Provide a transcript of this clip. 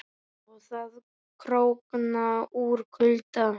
Og að krókna úr kulda.